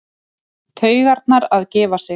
Taugarnar að gefa sig.